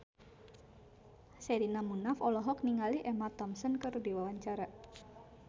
Sherina Munaf olohok ningali Emma Thompson keur diwawancara